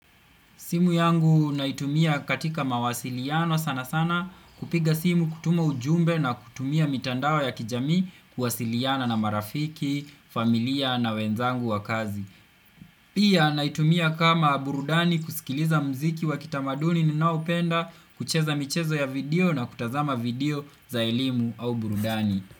Simu yangu naitumia katika mawasiliano sana sana kupiga simu, kutuma ujumbe na kutumia mitandao ya kijamii, kuwasiliana na marafiki, familia na wenzangu wa kazi. Pia naitumia kama burudani kusikiliza muziki wa kitamaduni ninaopenda, kucheza michezo ya video na kutazama video za elimu au burudani.